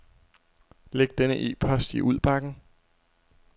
Læg denne e-post i udbakken.